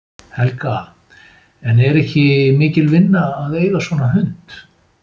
Helga: En er ekki mikil vinna að eiga svona hund?